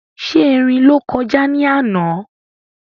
Ṣé erin ló kọjá ní àná?